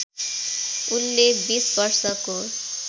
उनले २० वर्षको